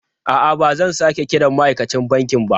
A'a, ba zan sake kiran ma'aikacin banki ba.